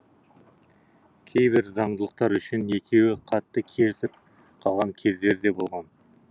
кейбір заңдылықтар үшін екеуі қатты керісіп қалған кездері де болған